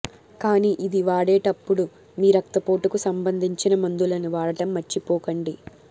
కానీ ఇది వాడేటప్పుడు మీ రక్తపోటుకు సంభందించిన మందులను వాడటం మర్చిపోకండి